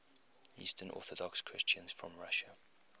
eastern orthodox christians from russia